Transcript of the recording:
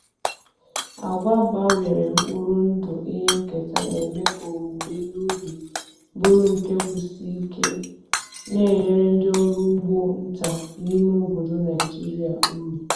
Agwa gbanwere mkpụrụ ndụ ihe nketa na-eme ka owuwe ihe ubi bụrụ ihe ubi bụrụ nke kwụsie ike, na-enyere ndị ọrụ ugbo nta n’ime obodo Naijiria uru.